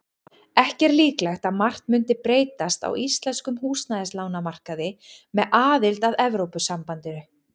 Ekki er líklegt að margt mundi breytast á íslenskum húsnæðislánamarkaði með aðild að Evrópusambandinu.